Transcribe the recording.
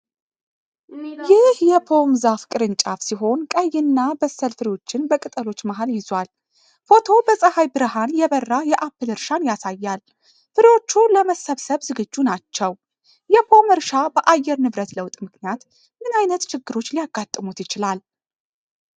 ይህ የፖም ዛፍ ቅርንጫፍ ሲሆን ቀይ እና በሳል ፍሬዎችን በቅጠሎች መሃል ይዟል። ፎቶው በፀሐይ ብርሃን የበራ የአፕል እርሻን ያሳያል። ፍሬዎቹ ለመሰብሰብ ዝግጁ ናቸው። የፖም እርሻ በአየር ንብረት ለውጥ ምክንያት ምን ዓይነት ችግሮች ሊያጋጥሙት ይችላል?